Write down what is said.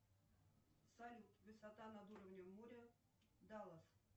салют высота над уровнем моря даллас